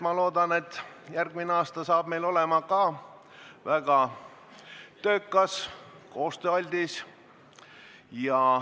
Ma loodan, et järgmine aasta tuleb meil ka väga töökas ja koostööaldis.